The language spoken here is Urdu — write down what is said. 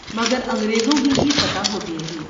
مگر انگریزوں ہی کی فتح ہوتی رہی۔